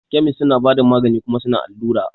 Kemis suna bada magani kuma suna allura.